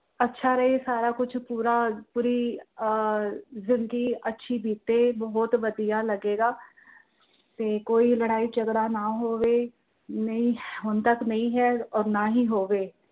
ਅੱਛਾ ਰਹੇ ਸਾਰਾ ਕੁਛ ਪੂਰਾ ਪੂਰੀ ਆਹ ਆ ਜ਼ਿੰਦਗੀ ਅੱਛੀ ਬੀਤੇ ਬਹੁਤ ਵਧੀਆ ਲੱਗੇਗਾ। ਕੋਈ ਲੜਾਈ ਝਗੜਾ ਨਾ ਹੋਵੇ, ਨਹੀਂ ਅਹ ਹੁਣ ਤੱਕ ਨਹੀਂ ਹੈ ਔਰ ਨਾ ਹੋਵੇ।